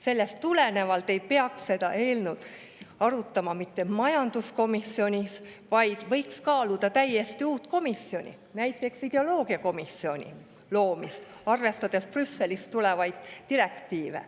Sellest tulenevalt ei peaks seda eelnõu arutama mitte majanduskomisjonis, vaid võiks kaaluda täiesti uue komisjoni, näiteks ideoloogiakomisjoni loomist, arvestades Brüsselist tulevaid direktiive.